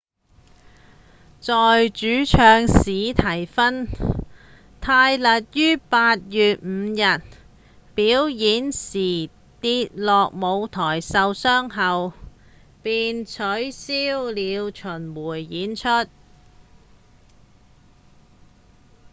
在主唱史蒂芬·泰勒於8月5日表演時跌落舞台受傷後他們便取消了巡迴演出